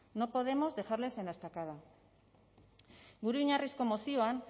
no podemos dejarles en la estacada gure oinarrizko mozioan